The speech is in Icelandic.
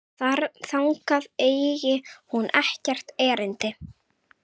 Þangað eigi hún ekkert erindi.